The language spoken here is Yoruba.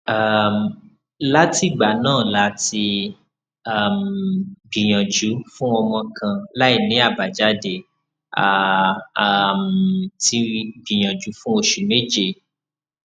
um látìgbà náà la ti um gbìyànjú fún ọmọ kan láìní abajade a um ti gbìyànjú fún oṣù meje